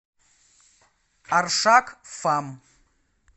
аршак фам